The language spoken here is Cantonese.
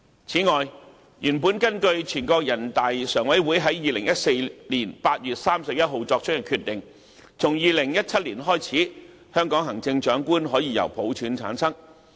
此外，原本根據全國人民代表大會常務委會在2014年8月31日作出的決定，從2017年開始，香港行政長官可以由普選產生。